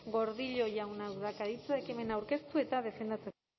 gordillo jaunak dauka hitza ekimena aurkeztu eta defendatzeko